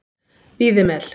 Víðimel